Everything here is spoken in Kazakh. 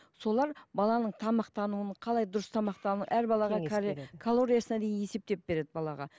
солар баланың тамақтануын қалай дұрыс тамақтануын әр балаға калориясына дейін есептеп береді балаға